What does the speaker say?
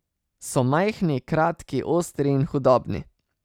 So majhni, kratki, ostri in hudobni.